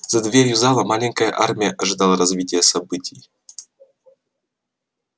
за дверью зала маленькая армия ожидала развития событий